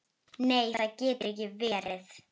Nei það getur ekki verið.